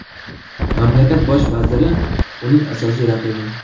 Mamlakat bosh vaziri uning asosiy raqibi.